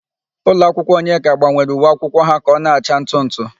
Ụlọakwụkwọ Onyeka gbanwere uwe akwụkwọ ha ka ọ na-acha ntụ ntụ.